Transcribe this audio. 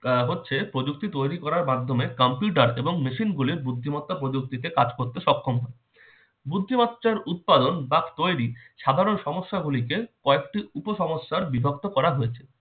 আহ হচ্ছে প্রযুক্তি তৈরি করার মাধ্যমে computer এবং machine গুলির বুদ্ধিমত্তা প্রযুক্তিকে কাজ করতে সক্ষম। বুদ্ধিমত্তার উৎপাদন বা তৈরি সাধারণ সমস্যাগুলিকে কয়েকটি উপসমস্যার বিভক্ত করা হয়েছে।